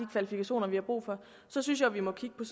kvalifikationer vi har brug for så synes jeg vi må kigge